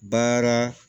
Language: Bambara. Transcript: Baara